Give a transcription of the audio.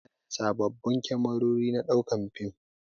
Anayi sababbin kamerori na ɗaukar shirin fim